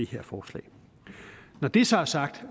her forslag når det så er sagt